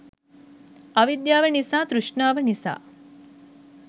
අවිද්‍යාව නිසා තෘෂ්ණාව නිසා